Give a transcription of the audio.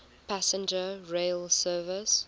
passenger rail service